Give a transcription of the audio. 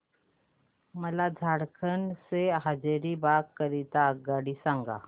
मला झारखंड से हजारीबाग करीता आगगाडी सांगा